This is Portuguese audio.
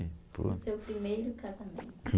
O seu primeiro casamento.